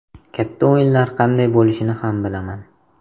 Katta o‘yinlar qanday bo‘lishini ham bilaman.